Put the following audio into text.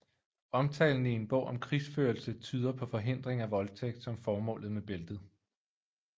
Omtalen i en bog om krigsførelse tyder på forhindring af voldtægt som formålet med bæltet